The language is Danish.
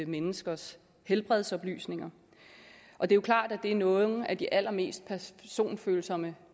menneskers helbredsoplysninger og det er klart at det er nogle af de allermest personfølsomme